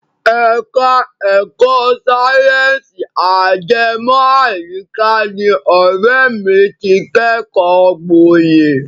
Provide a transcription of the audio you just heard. Ẹ̀ka ẹ̀kọ́ sáyẹ̀nsì ajẹmọ́ àyíká ni ọ̀rẹ́ mi ti kẹ́kọ̀ọ́ gboyè.